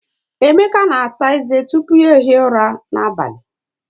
Emeka na-asa eze tupu ya ehie ụra n'abalị.